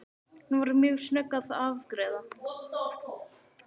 Hún var mjög snögg að afgreiða.